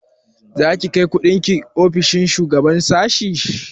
Za ki kai kundin ki ofishin shugaban sashi?